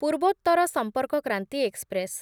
Purvottar Sampark Kranti express